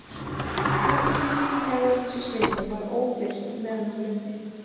Flest af því sem hann gerði á þessu sviði var óbirt meðan hann lifði.